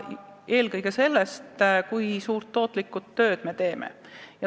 Eelkõige sõltuvad need sellest, kui tootlikku tööd me teeme.